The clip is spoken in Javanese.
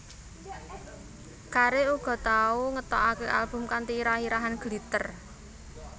Carey uga tau ngetokake album kanthi irah irahan Glitter